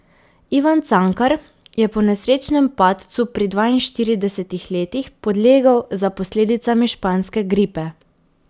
Ivan Cankar je po nesrečnem padcu pri dvainštiridesetih letih podlegel za posledicami španske gripe.